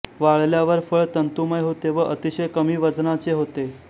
वाळल्यावर फळ तंतुमय होते व अतिशय कमी वजनाचे होते